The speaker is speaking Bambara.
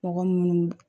Mɔgɔ munnu